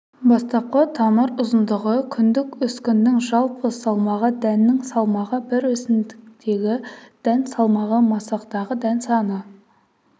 бастапқы тамыр ұзындығы күндік өскіннің жалпы салмағы дәннің салмағы бір өсімдіктегі дән салмағы масақтағы дән саны